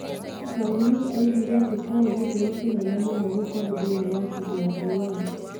Brownlee oigire atĩ kĩari gĩtĩo kĩnene mũno gũkorũo thĩinĩ wa bindiũ ya Rewind.